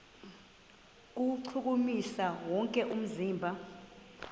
kuwuchukumisa wonke umzimba